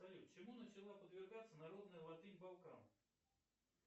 салют чему начала подвергаться народная латынь балкан